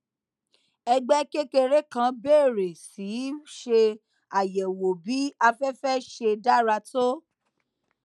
ẹgbé kékeré kan bèrè sí ṣe àyèwò bí aféfé ṣe dára tó